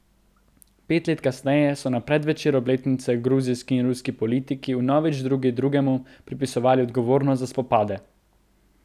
Pet let kasneje so na predvečer obletnice gruzijski in ruski politiki vnovič drug drugemu pripisovali odgovornost za spopade.